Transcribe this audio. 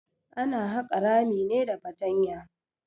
Ana haƙa rami ne da fatanya.